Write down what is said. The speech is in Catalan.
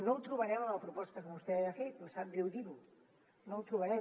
no el trobarem en la proposta que vostè ha fet em sap greu dir ho no el trobarem